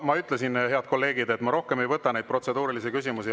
Ma ütlesin, head kolleegid, et ma rohkem ei võta neid protseduurilisi küsimusi.